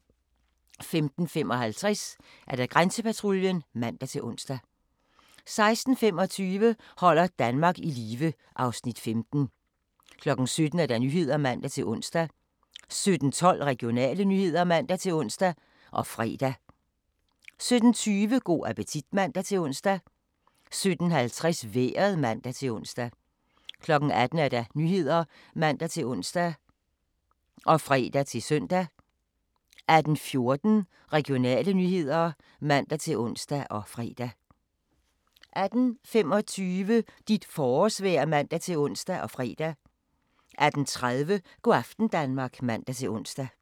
15:55: Grænsepatruljen (man-ons) 16:25: Holder Danmark i live (Afs. 15) 17:00: Nyhederne (man-ons) 17:12: Regionale nyheder (man-ons og fre) 17:20: Go' appetit (man-ons) 17:50: Vejret (man-ons) 18:00: Nyhederne (man-ons og fre-søn) 18:14: Regionale nyheder (man-ons og fre) 18:25: Dit forårsvejr (man-ons og fre) 18:30: Go' aften Danmark (man-ons)